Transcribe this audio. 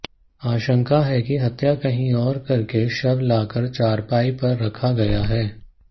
आशंका है कि हत्या कहीं और करके शव लाकर चारपाई पर रखा गया है